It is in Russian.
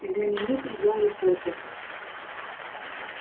знаменитый гарри поттер